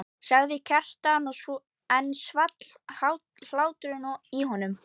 sagði Kjartan og enn svall hláturinn í honum.